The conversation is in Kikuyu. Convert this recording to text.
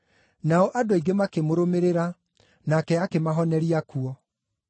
Nao andũ aingĩ makĩmũrũmĩrĩra, nake akĩmahoneria kuo.